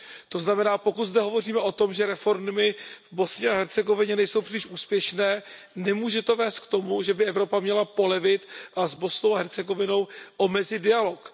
To znamená, pokud zde hovoříme o tom, že reformy v Bosně a Hercegovině nejsou příliš úspěšné, nemůže to vést k tomu, že by Evropa měla polevit a s Bosnou a Hercegovinou omezit dialog.